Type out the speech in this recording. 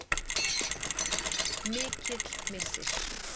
Mikill missir.